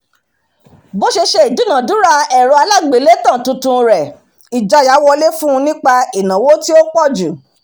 bó ṣe ṣe ìdúnadúrà ẹ̀rọ alágbèélétan tuntun rẹ̀ ìjáyà wọlé fún nípa ìnáwó tí ó pọ̀jù